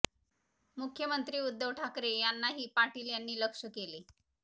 मुख्यमंत्री उद्धव ठाकरे यांनाही पाटील यांनी लक्ष्य केले